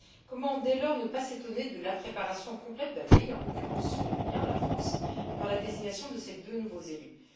Comment, dès lors, ne pas s'étonner de l'impréparation complète d'un pays, en l'occurrence le mien la France dans la désignation de ses deux nouveaux élus?